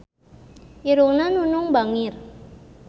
Irungna Nunung bangir